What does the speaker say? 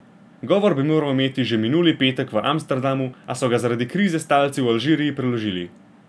Govor bi moral imeti že minuli petek v Amsterdamu, a so ga zaradi krize s talci v Alžiriji preložili.